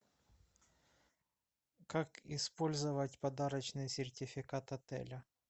как использовать подарочный сертификат отеля